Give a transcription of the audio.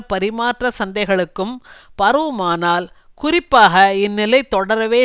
பரிமாற்ற சந்தைகளுக்கும் பரவுமானால் குறிப்பாக இந்நிலை தொடரவே